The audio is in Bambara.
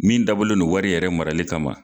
Min dabɔlen wari yɛrɛ marali kama.